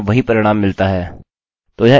अतः रिफ्रेश करें और हमें वही परिणाम मिलता है